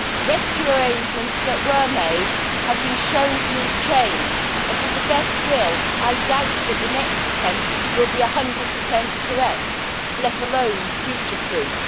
Rescue arrangements that were made have been shown to need change and with the best will, I doubt that the next attempt will be one hundred percent correct, let alone future proof.